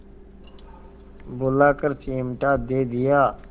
बुलाकर चिमटा दे दिया